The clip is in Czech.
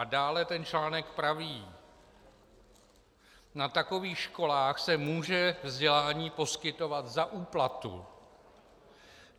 A dále ten článek praví: "Na takových školách se může vzdělání poskytovat za úplatu."